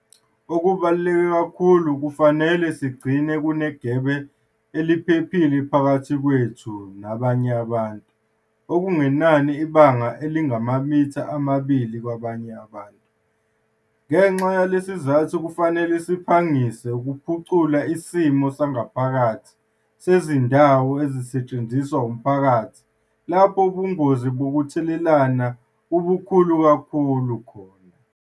Okubaluleke kakhulu, kufanele sigcine kunegebe eliphephile phakathi kwethu nabanye abantu - okungenani ibanga elingamamitha amabili - kwabanye abantu. Ngenxa yalesi sizathu kufanele siphangise ukuphucula isimo sangaphakathi sezindawo ezisetshenziswa umphakathi lapho ubungozi bokutheleleka bubukhulu kakhulu khona.